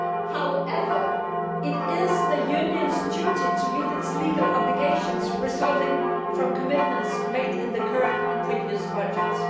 However, it is the Union's duty to meet its legal obligations resulting from commitments made in the current and previous budgets.